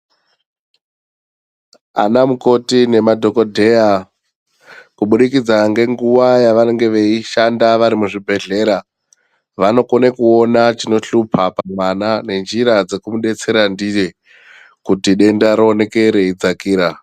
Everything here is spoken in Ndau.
Ana mukoti nemadhokodheya kubudikidza ngenguva yavanenge veishanda varimuzvibhedhlera vanokone kuona chinoshupa pamwana nenjira dzekumubetsera ndiye kuti denda rioneke reidzakira .